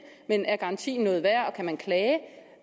men er garantien noget værd og kan man klage